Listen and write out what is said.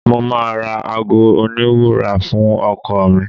Mo máa ra aago oníwúrà fún ọkọ ọ̀ mi.